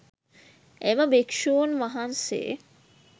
එම භික්‍ෂූන් වහන්සේ